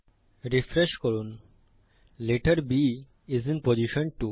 refresh করুন letter B I S I N position 2